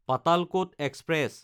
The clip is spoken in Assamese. পাতালকত এক্সপ্ৰেছ